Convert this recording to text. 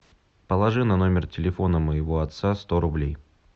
положи на номер телефона моего отца сто рублей